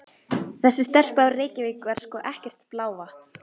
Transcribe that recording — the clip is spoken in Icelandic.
Þessi stelpa úr Reykjavík var sko ekkert blávatn.